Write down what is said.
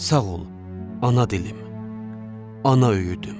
Sağ ol, ana dilim, ana öyüdüm.